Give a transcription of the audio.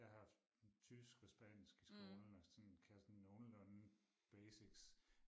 Jeg har haft tysk og spansk i skolen og sådan kan sådan nogenlunde basics